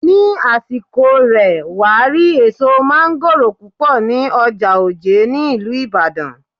Ní àsìkò rè, wàá rí èso mángóròò púpọ̀ ní ọjà Òjé ní ìlú Ìbàdàn.